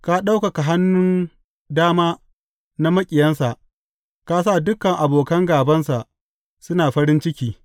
Ka ɗaukaka hannun dama na maƙiyansa; ka sa dukan abokan gābansa suna farin ciki.